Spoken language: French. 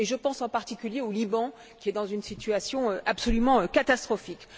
Je pense en particulier au Liban, qui est dans une situation absolument catastrophique.